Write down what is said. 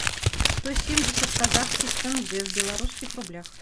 сто семьдесят казахских тенге в белорусских рублях